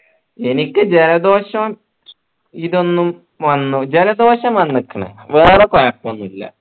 എനിക്ക് ജലദോഷം ഇതൊന്നും വന്നു ജലദോഷം വന്നിക്കുണു വേറെ കൊഴപ്പോ ഒന്നില്ല